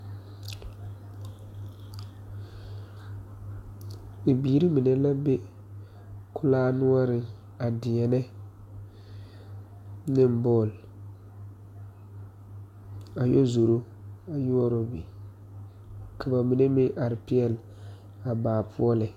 Bibiiri mine la be kulaa noɔre a deɛne ne bone, a yɛ zoro yɔɔro be ka ba mine meŋ are peɛle a baa poɔ lɛ.